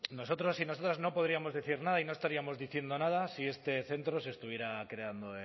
nosotros y nosotras no podríamos decir nada y no estaríamos diciendo nada si este centro se estuviera creando